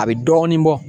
A bɛ dɔɔnin bɔ